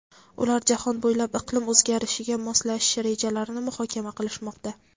Ular jahon bo‘ylab iqlim o‘zgarishiga moslashish rejalarini muhokama qilishmoqda.